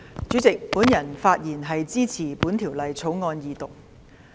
主席，我發言支持《2019年稅務條例草案》二讀。